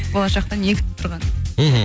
болашақта не күтіп тұрғанын мхм